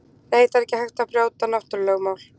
Nei, það er ekki hægt að brjóta náttúrulögmál.